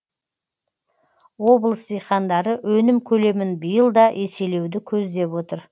облыс диқандары өнім көлемін биыл да еселеуді көздеп отыр